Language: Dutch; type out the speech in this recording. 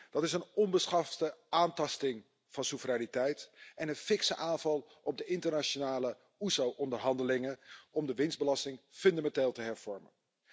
Dat is een onbeschofte aantasting van de soevereiniteit en een fikse aanval op de internationale OESO onderhandelingen om de winstbelasting fundamenteel te hervormen.